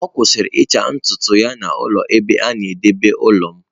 Ọ kwụsịrị ịcha ntutu ya n'ụlọ ebe a na-edebe ụlọ m.